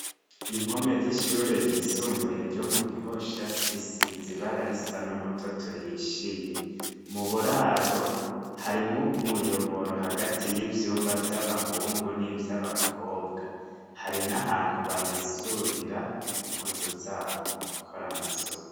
Impome z'ishure ryisumbuye ryo mu gihosha zisiza ibara risa n'umutotu hishiye mu buraro harimwo umuyoboro hagati y'ivyumba vy'abahungu n'ivyo abakobwa hari n'ahantu bamesurira impozu zabo mu gukora amasuka.